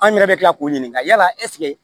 An yɛrɛ bɛ tila k'o ɲininka yala ɛseke